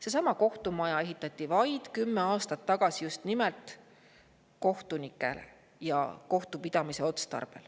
Seesama kohtumaja ehitati vaid kümme aastat tagasi just nimelt kohtupidamise otstarbel.